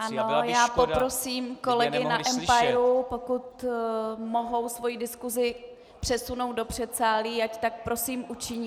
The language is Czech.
Ano, já poprosím kolegy na empiru, pokud mohou svoji diskusi přesunout do předsálí, ať tak prosím učiní.